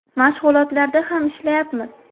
Mashg‘ulotlarda ham ishlayapmiz.